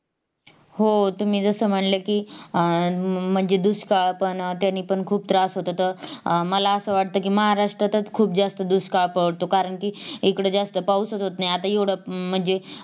हो तुम्ही जस म्हणल कि आह म्हणजे दुष्काळ पण त्यांनी पण खूप त्रास होतो तर अं मला असं वाटत कि महाराष्ट्रातच खूप जास्त दुष्काळ पडतो कारण कि एकड जास्त पाऊसच होत नाहीआता येवढा म्हणजे